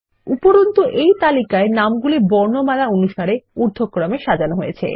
উপরন্তু এই তালিকায় নামগুলি বর্ণমালা অনুসারে ঊর্ধক্রমে সাজানো হয়েছে